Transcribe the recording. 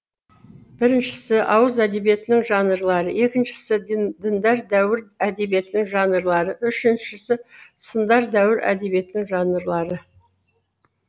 біріншісі ауыз әдебиетінің жанрлары екіншісі діндар дәуір әдебиетінің жанрлары үшіншісі сындар дәуір әдебиетінің жанрлары